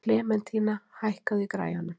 Klementína, hækkaðu í græjunum.